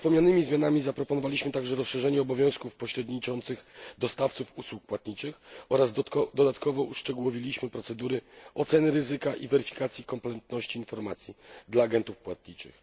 Poza wspomnianymi zmianami zaproponowaliśmy także rozszerzenie obowiązków dostawców pośredniczących w usługach płatniczych oraz dodatkowo uszczegółowiliśmy procedury oceny ryzyka i weryfikacji komplementarności informacji dla agentów płatniczych.